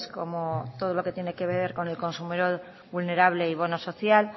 como todo lo que tiene que ver con el consumidor vulnerable y bono social